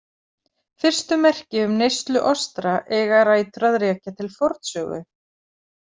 Fyrstu merki um neyslu ostra eiga rætur að rekja til fornsögu.